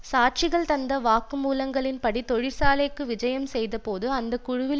சாட்சிகள் தந்த வாக்கு மூலங்களின்படி தொழிற்சாலைக்கு விஜயம் செய்தபோது அந்த குழுவில்